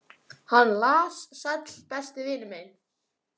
Hann las: Sæll, besti vinur minn.